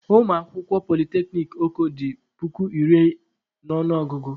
Ụmụ akwụkwọ polyteknic Oko dị puku iri n'ọnụ ọgụ.